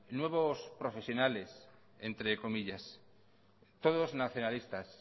nuevos profesionales entre comillas todos nacionalistas